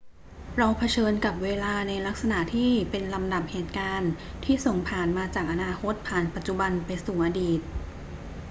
เราเผชิญกับเวลาในลักษณะที่เป็นลำดับเหตุการณ์ที่ส่งผ่านมาจากอนาคตผ่านปัจจุบันไปสู่อดีต